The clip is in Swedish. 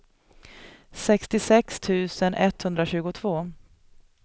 sextiosex tusen etthundratjugotvå